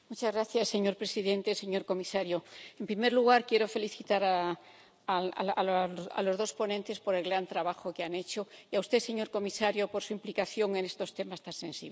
Señor presidente, señor comisario, en primer lugar quiero felicitar a los dos ponentes por el gran trabajo que han hecho y a usted, señor comisario, por su implicación en estos temas tan sensibles.